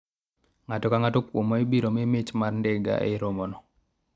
ng'ato kang'ato kuomwa ibiro mii mich mar ndiga e romo no